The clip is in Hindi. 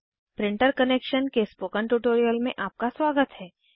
प्रिंटर कनेक्शन के स्पोकन ट्यूटोरियल में आपका स्वागत है